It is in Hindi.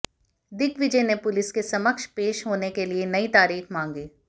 दिग्विजय ने पुलिस के समक्ष पेश होने के लिए नई तारीख मांगी